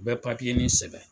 U bɛ nin sɛbɛn